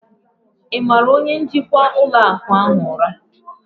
Ị mara onye njikwa ụlọ akụ ahụ ụra?